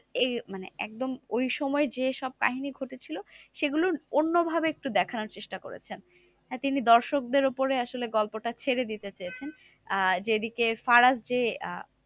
এই মানে একদম ওই সময় যে সব কাহিনী ঘটেছিল সেগুলো অন্য ভাবে একটু দেখানোর চেষ্টা করেছেন। তিনি দর্শকদের উপরে আসলে গল্পটা ছেড়ে দিতে চেয়েছেন। আহ যেদিকে ফারাজ যে আহ